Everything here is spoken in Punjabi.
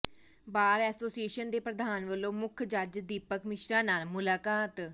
ਬਾਰ ਐਸੋਸੀਏਸ਼ਨ ਦੇ ਪ੍ਰਧਾਨ ਵਲੋਂ ਮੁੱਖ ਜੱਜ ਦੀਪਕ ਮਿਸ਼ਰਾ ਨਾਲ ਮੁਲਾਕਾਤ